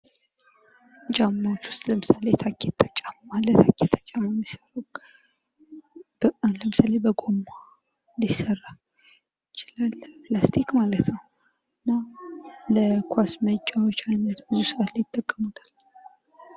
ጫማዎች ውስጥ ለምሳሌ ታኬታ ጫማ አለ ።ታኬታ ጫማ ለምሳሌ በጎማ ሊሰራ ይችላል። በፕላስቲክ ማለት ነው ።እና ኳስ መጫወቻነት ብዙ ሰዓት ይጠቀሙታል።